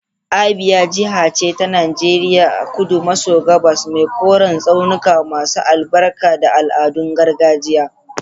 Abia jiha ce ta Najeriya a kudu maso gabas mai koren tsaunuka masu albarka da al'adun gargajiya.